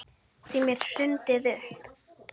Þeim er hrundið upp.